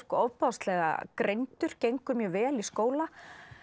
ofboðslega greindur gengur mjög vel í skóla